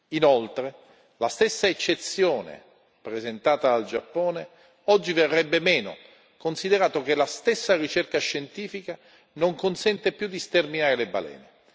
Inoltre, la stessa eccezione presentata dal Giappone oggi verrebbe meno, considerato che la stessa ricerca scientifica non consente più di sterminare le balene.